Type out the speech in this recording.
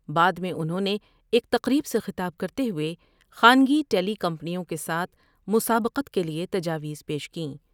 بعد میں انہوں نے ایک تقریب سے خطاب کرتے ہوۓ خانگی ٹیلی کمپنیوں کے ساتھ مسابقت کے لیے تجاویز پیش کیں ۔